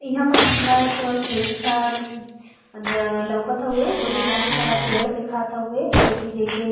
इहां पर हमका एक खेत ताल लउकत हुए जो में बहुत सारा पेड़ देखात हउए जोकि जैसे --